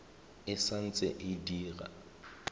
e sa ntse e dira